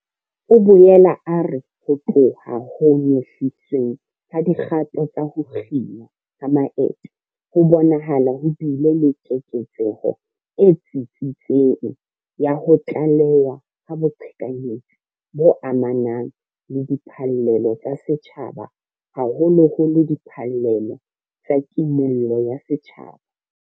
O boela a re ho tloha ho nyehlisweng ha dikgato tsa ho kginwa ha maeto, ho bonahala ho bile le keketseho e tsitsitseng ya ho tlalewa ha boqhekanyetsi bo amanang le diphallelo tsa setjhaba, haholoholo diphallelo tsa Kimollo ya Setjhaba.